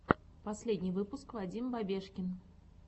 последний выпуск вадим бабешкин